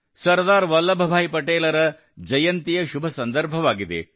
ಸರ್ದಾರ್ ವಲ್ಲಭ ಭಾಯಿ ಪಟೇಲರ ಜಯಂತಿಯ ಶುಭ ಸಂದರ್ಭವಾಗಿದೆ